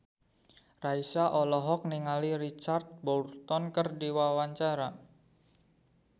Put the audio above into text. Raisa olohok ningali Richard Burton keur diwawancara